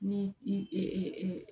Ni i